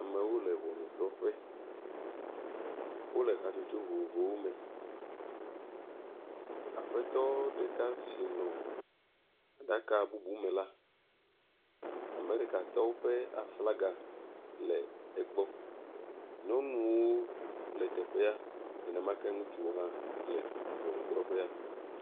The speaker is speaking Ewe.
Amewo le ŋɔnudrɔƒe. wo le hatsotso vovovowo me. Aƒetɔ ɖeka si nɔ aɖaka bubu me la, Amerikatɔwo ƒe aflaga le egbɔ. Nyɔnuwo le teƒea nenemake ŋutsuwo hã le ŋɔnudrɔƒea.